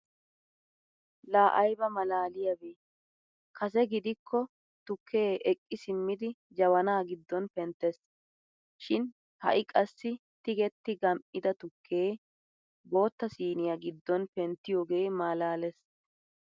Laa ayba malaaliyaabee kase gidiko tukkee eqqi simmidi jabana giddon penttees. shin ha'i qassi tigetti gam"ida tukkee bootta siniyaa giddon penttiyoogee malalees!